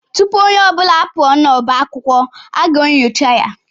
Tụpụ ọnye ọbula apuo n'ọbá akwụkwọ aga enyocha ya